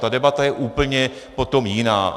Ta debata je úplně potom jiná.